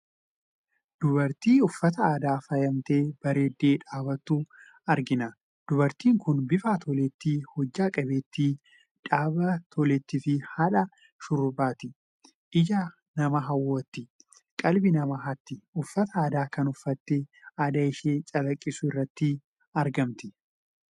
Dubartii uffataa aadaan faayamtee bareeddee dhaabbattu argina. Dubartiin kun bifa toleettii, hojjaa qabeettii, dhaabbii toleettii fi haadha shurrubbaati. Ija namaa hawwatti; qalbii nama hatti! Uffata aadaa kana uffattee aadaa ishee calaqqisiisuu irratti argamti.